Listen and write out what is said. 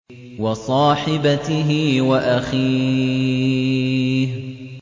وَصَاحِبَتِهِ وَأَخِيهِ